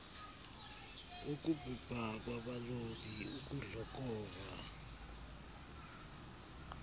wokubhubha kwabalobi ukudlokova